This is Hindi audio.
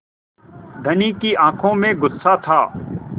धनी की आँखों में गुस्सा था